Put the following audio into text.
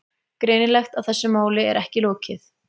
Greinilegt að þessu máli er ekki lokið.